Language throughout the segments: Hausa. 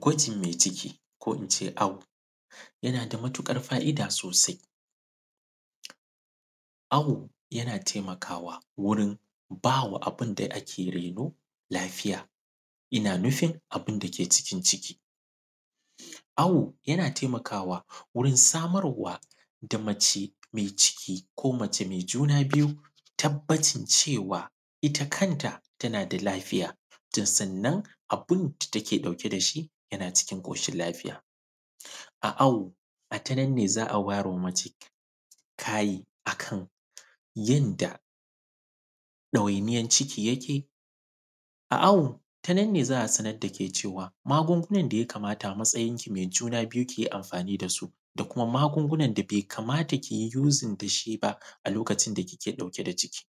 Gwajin me ciki ko in ce awo, yana da matuƙar fa’ida sosai. Awo yana temakawa wurin ba wa abin da ake reno lafiya, ina nufin abin da ke cikin ciki. Awo, yana temakawa wurin samarwa da mace me ciki ko mace me juna biyu tabbacin cewa, ita kanta tana da lafiya, tan sannan, abin da take ɗauke da shi, yana cikin ƙoshil lafiya. A awo, a ta nan ne za a wayar wa mace kayi a kan yanda ɗawainiyan ciki yake. A awo, ta nan ne za a sanad da ke cewa, magungunan da ya kamata a matsayinki na me juna biyu ki yi amfani da su da kuma magungunan da be kamata ki yi “using” da shi ba, a lokacin da kike ɗauke da ciki.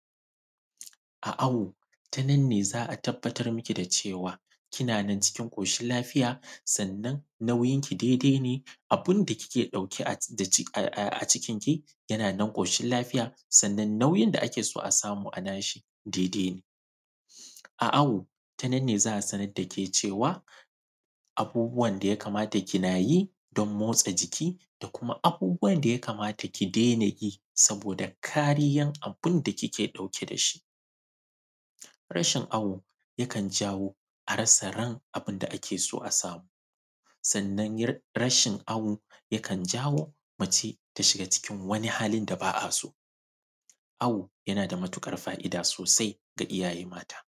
A awo, ta nan ne za a tabbatar miki da cewa, kina nan cikin ƙoshil lafiya, sannan nauyinki dede ne, abinda kiki ɗauke a; da cik; a; a; a cikinki, yana nan ƙoshil lafiya, sannan nauyin da ake so a samu a nashi, dede ne. A awo, ta nan ne za a sanad da ke cewa, abubuwan da ya kamata kina yi don motsa jiki da kuma abubuwan da ya kamata ki dena yi saboda kariyan abin da kike ɗauke da shi. Rashin awo, yakan jawo a rasa ran abin da ake so a samu. Sannan, r; rashin awo yakan jawo mace ta shiga wani halin da ba a so, awo yana da matuƙar fa’ida sosai ga iyaye mata.